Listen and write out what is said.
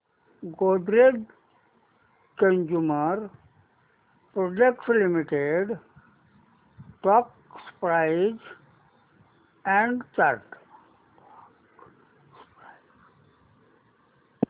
Godrej consumer products limited stock price and chart